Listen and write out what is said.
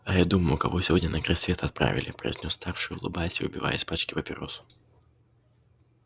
а я думаю кого сегодня на край света отправили произнёс старший улыбаясь и выбивая из пачки папиросу